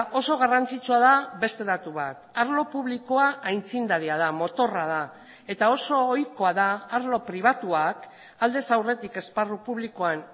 oso garrantzitsua da beste datu bat arlo publikoa aitzindaria da motorra da eta oso ohikoa da arlo pribatuak aldez aurretik esparru publikoan